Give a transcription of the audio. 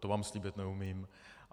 To vám slíbit neumím.